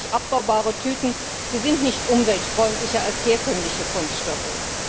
Biologisch abbaubare Tüten sind nicht umweltfreundlicher als herkömmliche Kunststoffe.